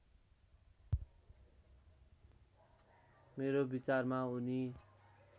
मेरो विचारमा उनी